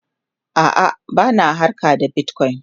a'a bana harka da bitcoin